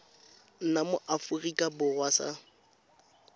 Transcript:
nna mo aforika borwa sa